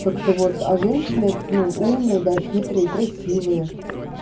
так-то вот а женщины ну умные да хитрые красивые